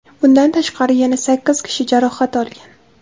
Bundan tashqari, yana sakkiz kishi jarohat olgan.